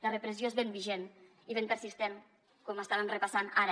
la repressió és ben vigent i ben persistent com estàvem repassant ara